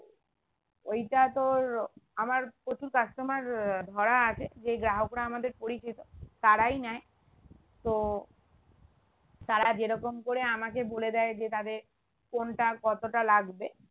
ঐটা তোর আমার প্রচুর customer আহ ধরা আছে যে গ্রাহকরা আমাদের পরিচিত তারাই নেয় তো তারা যেরকম করে আমাকে বলে দেয় যে তাদের কোনটা কতটা লাগবে